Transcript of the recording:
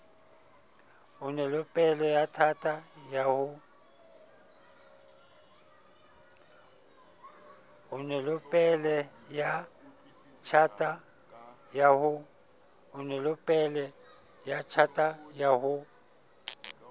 onelopele ya tjhata ya ho